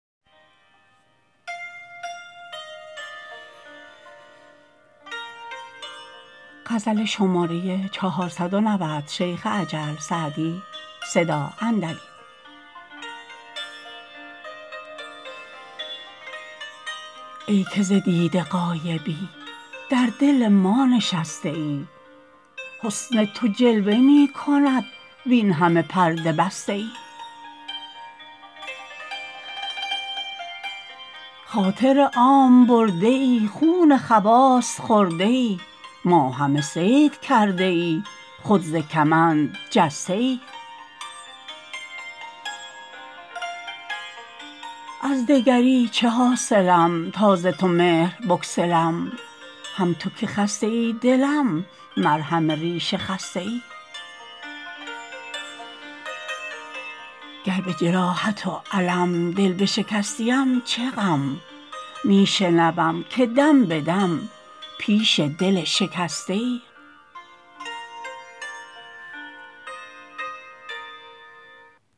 ای که ز دیده غایبی در دل ما نشسته ای حسن تو جلوه می کند وین همه پرده بسته ای خاطر عام برده ای خون خواص خورده ای ما همه صید کرده ای خود ز کمند جسته ای از دگری چه حاصلم تا ز تو مهر بگسلم هم تو که خسته ای دلم مرهم ریش خسته ای گر به جراحت و الم دل بشکستیم چه غم می شنوم که دم به دم پیش دل شکسته ای